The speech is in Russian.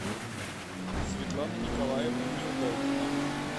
светлана николаевна неудайкина